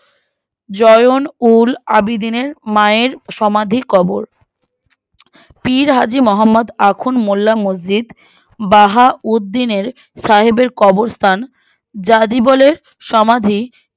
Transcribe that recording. join উল আবিদিনের মায়ের সমাদির কবর পীর হাজি মহম্মদ আখন মোল্লা মসজিদ বাহা উদ্দিনের সাহেবের কবরস্থান জাদিবলের সমাধি